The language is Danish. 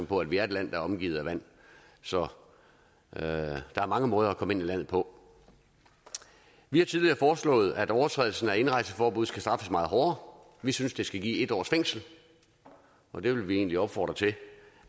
på at vi er et land der er omgivet af vand så der er mange måder at komme ind i landet på vi har tidligere foreslået at overtrædelse af indrejseforbud skal straffes meget hårdere vi synes det skal give en års fængsel og det vil vi egentlig opfordre til